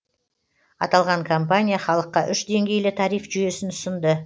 аталған компания халыққа үш деңгейлі тариф жүйесін ұсынды